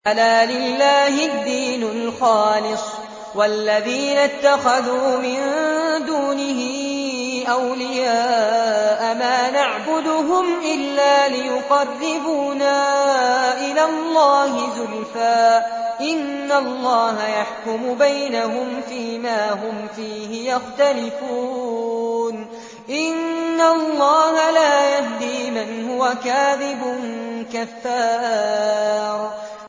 أَلَا لِلَّهِ الدِّينُ الْخَالِصُ ۚ وَالَّذِينَ اتَّخَذُوا مِن دُونِهِ أَوْلِيَاءَ مَا نَعْبُدُهُمْ إِلَّا لِيُقَرِّبُونَا إِلَى اللَّهِ زُلْفَىٰ إِنَّ اللَّهَ يَحْكُمُ بَيْنَهُمْ فِي مَا هُمْ فِيهِ يَخْتَلِفُونَ ۗ إِنَّ اللَّهَ لَا يَهْدِي مَنْ هُوَ كَاذِبٌ كَفَّارٌ